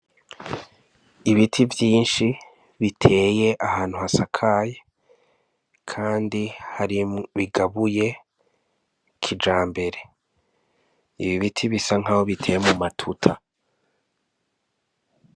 Ibiti vyinshi biteye ahantu hasakaye kandi bigabuye kijambere ibi biti bisa nkaho biteye mu matuta.